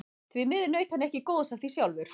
Því miður naut hann ekki góðs af því sjálfur.